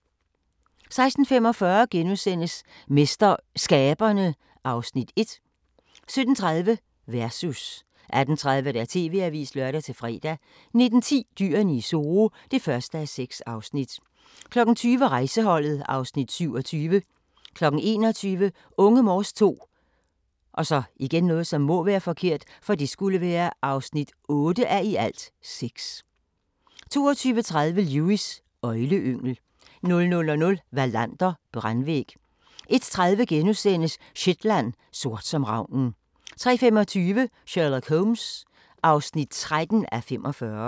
16:45: MesterSkaberne (Afs. 1)* 17:30: Versus 18:30: TV-avisen (lør-fre) 19:10: Dyrene i Zoo (1:6) 20:00: Rejseholdet (Afs. 27) 21:00: Unge Morse II (8:6) 22:30: Lewis: Øgleyngel 00:00: Wallander: Brandvæg 01:30: Shetland: Sort som ravnen * 03:25: Sherlock Holmes (13:45)